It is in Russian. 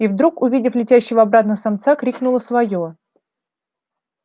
и вдруг увидев летящего обратно самца крикнула своё